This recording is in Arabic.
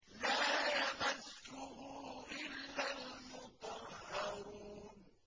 لَّا يَمَسُّهُ إِلَّا الْمُطَهَّرُونَ